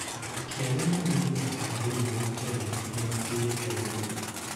Athaki arĩa marĩ igweta thĩinĩ wa Kenya nĩ matĩĩtwo mũno.